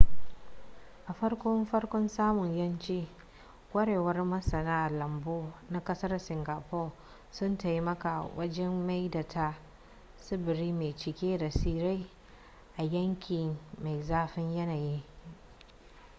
a farko farkon samun yanci kwarewar masana lambu na kasar singapore sun taimaka wajen maida ta tsibiri mai cike da tsirrai a yanki mai zafin yanayi